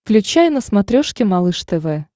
включай на смотрешке малыш тв